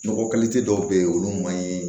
Nɔgɔ kɛli tɛ dɔw bɛ ye olu man ɲi